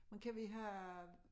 Men kan vi have